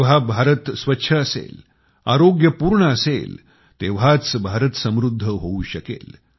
जेव्हा भारत स्वच्छ असेल आरोग्यपूर्ण असेल तेव्हाच भारत समृद्ध होऊ शकेल